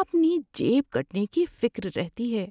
اپنی جیب کٹنے کی فکر رہتی ہے۔